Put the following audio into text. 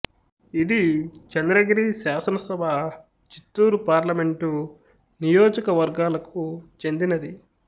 ఇది చంద్రగిరి శాసనసభ చిత్తూరు పార్లమెంటు నియోజక వర్గాలకు చెందినది